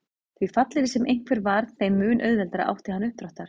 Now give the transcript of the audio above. Því fallegri sem einhver var þeim mun auðveldara átti hann uppdráttar.